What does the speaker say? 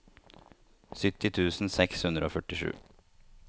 sytti tusen seks hundre og førtisju